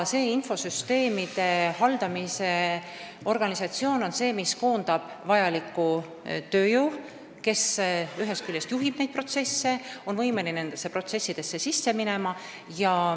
See infosüsteemide haldamise organisatsioon koondab vajaliku tööjõu, kes ühest küljest juhib protsesse, aga on võimeline ka nendesse protsessidesse sisse minema.